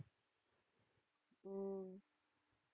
உம்